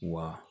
Wa